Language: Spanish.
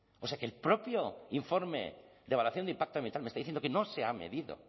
o sea que el propio informe de evaluación de impacto ambiental me está diciendo que no se ha medido